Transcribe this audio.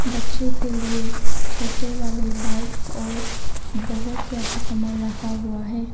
बच्चे के लिए छोटे वाले बाइक्स और बहोत ज्यादा सामान रखा हुआ है।